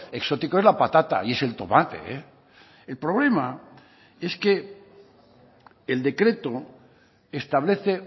exótico es la patata y es el tomate el problema es que el decreto establece